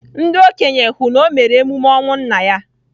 Ndị okenye hụ na o mere emume ọnwụ nna ya.